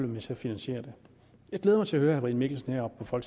med til at finansiere det jeg glæder mig til at høre herre brian mikkelsen heroppe fra